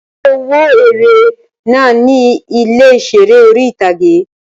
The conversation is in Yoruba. Ṣé o wo eré náà ní ilé ìseré orí-ìtágé?